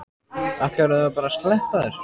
Ætlarðu þá bara að sleppa þessu?